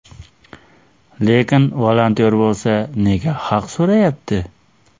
Lekin volontyor bo‘lsa, nega haq so‘rayapti?